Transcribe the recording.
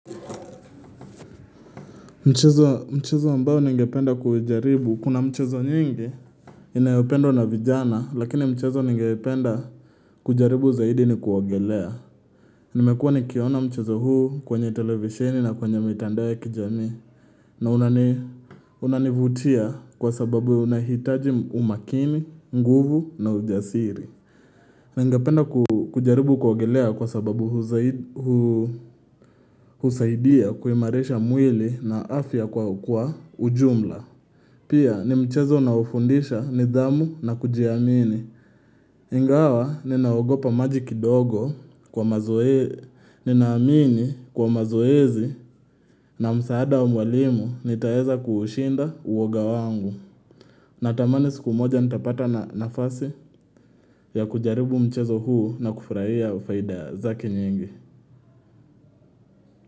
Mchezo ambao ningependa kujaribu kuna mchezo nyingi Inayopendwa na vijana lakini mchezo ningependa kujaribu zaidi ni kuogelea Nimekuwa nikiona mchezo huu kwenye televisheni na kwenye mitandao ya kijamii na unanivutia kwa sababu unahitaji umakini, nguvu na ujasiri na ingapenda kujaribu kuogelea kwa sababu husaidia kuimarisha mwili na afya kwa ujumla Pia ni mchezo na unofundisha nidhamu na kujiamini Ingawa ni naogopa maji kidogo kwa mazoezi ni naamini kwa mazoezi na msaada wa mwalimu n taeza kushinda uwoga wangu Natamani siku moja nitapata na nafasi ya kujaribu mchezo huu na kufurahia ufaida za ke nyingi.